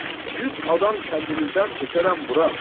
Yüz adam kəndimizdən tökərəm bura.